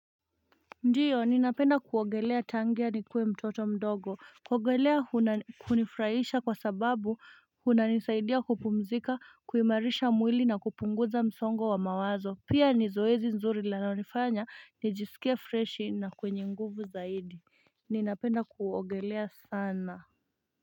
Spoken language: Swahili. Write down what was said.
Ndiyo ninapenda kuogelea tangia nikiwa mtoto mdogo, kuogelea unifurahisha kwa sababu, unisaidia kupumzika, kuimarisha mwili na kupunguza msongo wa mawazo, pia ni zoezi zuri linalo nifanya, nijisikia freshi na mwenye nguvu zaidi, ninapenda kuogelea sana.